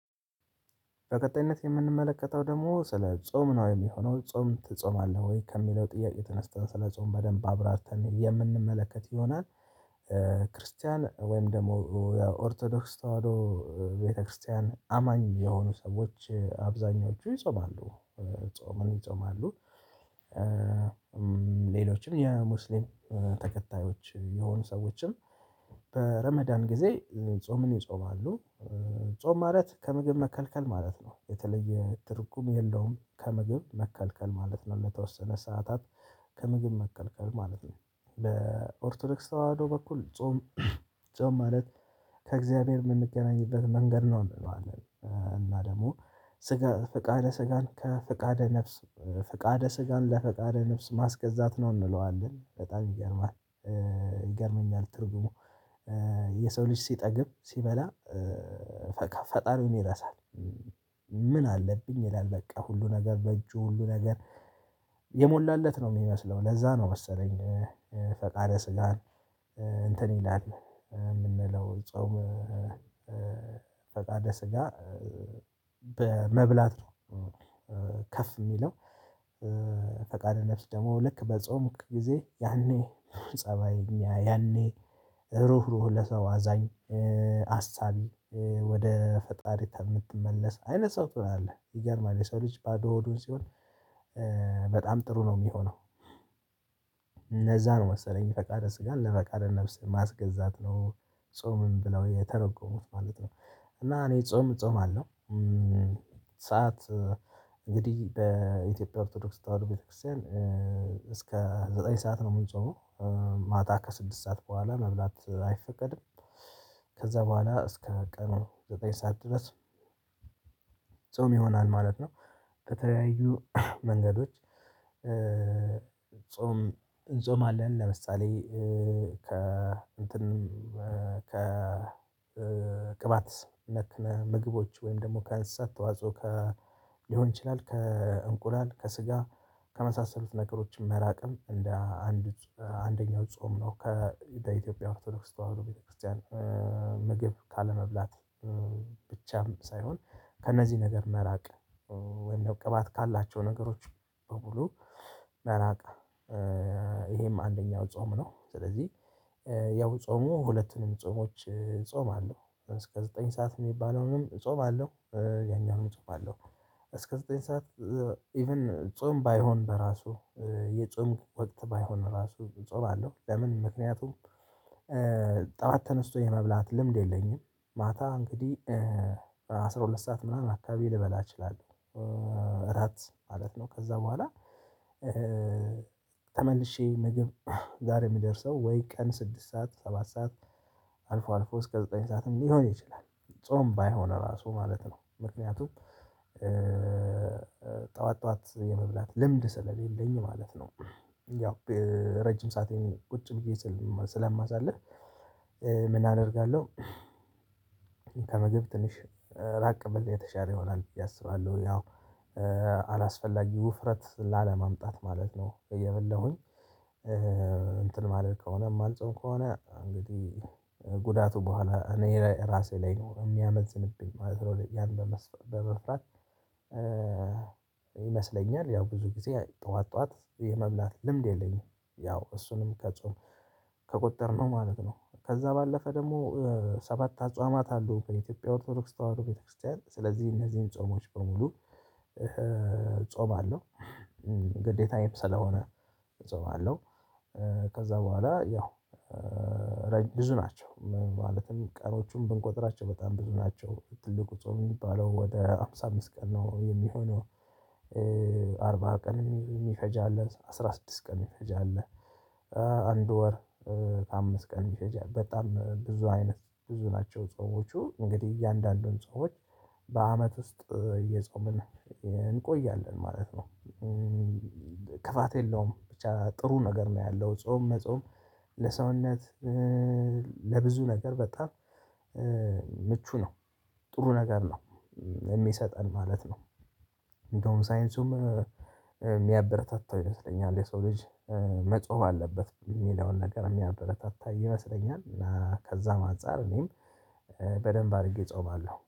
በቀጣይነት የምንመለከተው ደግሞ ስለ ጾም ነው የሚሆነው ጾም ትጾማለህ ወይ ከሚለው ጥያቄ ተነስተህ ስለ ጾም በደንብ አብራርተን የምንመለከት ይሆናል። ክርስቲያን ወይም ደግሞ የኦርቶዶክስ ተዋህዶ ቤተክርስቲያን አማኝ የሆኑ ሰዎች አብዛኞቹ ይጾማሉ ጾምን ይጾማሉ። ሌሎችን የሙስሊም ተከታዮች የሆኑ ሰዎችን በረመዳን ጊዜ ጾምን ይጾማሉ። ጾም ማለት ከምግብ መከልከል ማለት ነው። የተለየ ትርጉም የለውም። ከምግብ መከልከል ማለት ነው ለተወሰነ ሰዓታት ከምግብ መከልከል ማለት ነው። በኦርቶዶክስ ተዋህዶ በኩል ጾም ማለት ከእግዚአብሔር የምንገናኝበት መንገድ ነው ማለት ነው። እና ደግሞ ፍቃደ ስጋን ከፍቃደ ነፍስ ፍቃደ ስጋን ለፍቃደ ነፍስ ማስገዛት ነው እንለዋለን በጣም ይገርማል። ይገርመኛል ትርጉሙ የሰው ልጅ ሲጠግብ ሲበላ ፈጣሪውን ይረሳል። ምን አለብኝ ይላል በቃ ሁሉ ነገር በእጁ ሁሉ ነገር የሞላለት ነው የሚመስለው ለዛ ነው መሰለኝ። ፈቃደ ስጋን እንትን ይላል የምንለው ጾም። ፈቃደ ስጋ በመብላት ነው። ከፍ የሚለው። ፈቃደ ነፍስ ደግሞ ልክ በጾምክ ጊዜ ያኔ ፀባይ ያኔ ሩህ ሩህ ለሰው አዛኝ አሳቢ ወደ ፈጣሪ የምትመለስ አይነት ሰው ትሆናለህ። ይገርማል የሰው ልጅ ባዶ ሆዱን ሲሆን በጣም ጥሩ ነው የሚሆነው። እነዛ መሰለኝ ፈቃደ ስጋን ለፈቃደ ነፍስ ማስገዛት ነው ጾምም ብለው የተረጎሙት ማለት ነው። እና እኔ ጾም እጾማለው። ሰዓት እንግዲህ በኢትዮጵያ ኦርቶዶክስ ተዋህዶ ቤተክርስቲያን እስከ ዘጠኝ ሰዓት ነው ምንጾመው ማታ ከስድስት ሰዓት በኋላ መብላት አይፈቀድም። ከዛ በኋላ እስከ ቀኑ ዘጠኝ ሰዓት ድረስ ጾም ይሆናል ማለት ነው። በተለያዩ መንገዶች ጾም እንጾማለን ለምሳሌ ከእንትን ከቅባት ምግቦች ወይም ደግሞ ከአንስሳት ተዋጽኦ ሊሆን ይችላል። ከእንቁላል ከስጋ ከመሳሰሉት ነገሮችም መራቅም እንደ አንዱ አንደኛው ጾም ነው። ከኢትዮጵያ ኦርቶዶክስ ተዋህዶ ቤተክርስቲያን ምግብ ካለመብላት ብቻም ሳይሆን ከነዚህ ነገር መራቅ ወይም ነው ቅባት ካላቸው ነገሮች በሙሉ መራቅ ይሄም አንደኛው ጾም ነው። ስለዚህ ያው ጾሞ ሁለቱንም ጾሞች እጾማለው እስከ ዘጠኝ ሰዓት የሚባለውንም ጾም አለው። ያኛውን ጾም አለው እስከ ዘጠኝ ሰዓት ኢቭን ጾም ባይሆን በራሱ የጾም ወቅት ባይሆን ራሱ ጾም አለው። ለምን ምክንያቱም? ጠዋት ተነስቶ የመብላት ልምድ የለኝም። ማታ እንግዲህ በአስራ ሁለት ሰዓት ምናምን አካባቢ ልበላ እችላለሁ። እራት ማለት ነው ከዛ በኋላ ተመልሼ ምግብ ጋር የሚደርሰው ወይ ቀን ስድስት ሰዓት ሰባት ሰዓት አልፎ አልፎ እስከ ዘጠኝ ሰዓትም ሊሆን ይችላል። ጾም ባይሆን ራሱ ማለት ነው ምክንያቱም ጠዋት ጠዋት የመብላት ልምድ ስለሌለኝ ማለት ነው። ያው ረጅም ሰአቴን ቁጭ ብዬ ስለማሳልፍ ምን አደርጋለሁ? ከምግብ ትንሽ ራቅ ብል የተሻለ ይሆናል ያሰባሉ ያው አላስፈላጊ ውፍረት ላለማምጣት ማለት ነው። እየበላሁኝ እንትን ማድረግ ከሆነ ማልጽም ከሆነ እንግዲህ ጉዳቱ በኋላ እኔ ራሴ ላይ ነው የሚያመዝንብኝ። ማዝሮ ያለ መስፍን በመፍራት ይመስለኛል ያው ብዙ ጊዜ ጠዋት ጠዋት የመብላት ልምድ የለኝም ያው እሱንም ከጾም ከቆጠርነው ማለት ነው። ከዛ ባለፈ ደግሞ ሰባት አጽዋማት አለው በኢትዮጵያ ኦርቶዶክስ ተዋህዶ ቤተክርስቲያን ስለዚህ እነዚህን ጾሞች በሙሉ እጾማለሁ ግዴታየም ስለሆነ እጾማለሁ። ከዛ በኋላ ያው ብዙ ናቸው ማለትም ቀኖቹን ብንቆጥራቸው በጣም ብዙ ናቸው ትልቁ ጾም የሚባለው ወደ ሃምሳ አምስት ቀን ነው የሚሆነው። አርባ ቀን የሚፈጅ አለን አስራ ስድስት ቀን የሚፈጅ አለ። አንድ ወር አምስት ቀን የሚፈጅ አለ በጣም ብዙ አይነት ብዙ ናቸው። ጾሞቹ እንግዲህ እያንዳንዱን ጾሞች በአመት ውስጥ እየጾምን እንቆያለን ማለት ነው። ክፋት የለውም ብቻ ጥሩ ነገር ነው ያለው ጾም መጾም ለሰውነት ለብዙ ነገር በጣም ምቹ ነው ጥሩ ነገር ነው። የሚሰጠን ማለት ነው። እንደውም ሳይንሱም የሚያበረታታው ይመስለኛል የሰው ልጅ መጾም አለበት የሚለውን ነገር የሚያበረታታ ይመስለኛል እና ከዛም አንፃር እኔም በደንብ አድርጌ እጾማለሁ